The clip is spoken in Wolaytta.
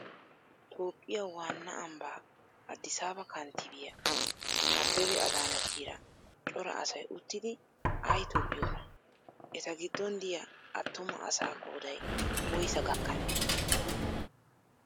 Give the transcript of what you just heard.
Toophphiyaa waannaa ambbaa addisaaba kanttibiyaa abebe adaanachchiira cora asay uttidi ayi tobbiyoonaa? Eta giddon diyaa attuma asaa qoodayi woyisaa gakkanee